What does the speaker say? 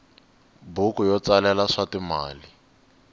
buku yo tsalela swa timali